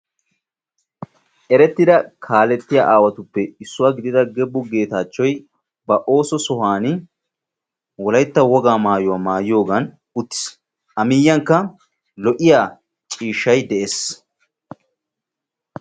erettida kaaletiya aawatuppe issuwa gidida Gebu Geetachchoy ooso sohuwa Wolaytta wogaa maayuwa maayiyoogan uttiis. A miyyiyankka lo''iyaa ciishshay de'ees.